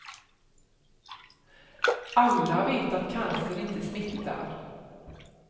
Alla vet att cancer inte smittar.